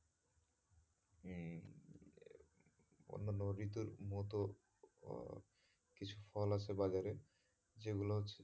অন্যান্য ঋতুর মতো আহ কিছু ফল আছে বাজারে যেগুলো হচ্ছে,